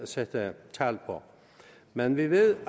sætte tal på men vi ved